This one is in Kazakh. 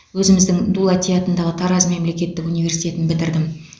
өзіміздің дулати атындағы тараз мемлекеттік университетін бітірдім